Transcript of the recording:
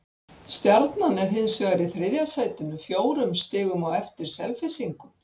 Stjarnan er hins vegar í þriðja sætinu, fjórum stigum á eftir Selfyssingum.